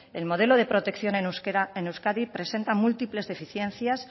el modelo de protección en euskadi presenta múltiples deficiencias